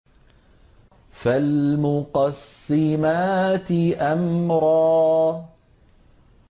فَالْمُقَسِّمَاتِ أَمْرًا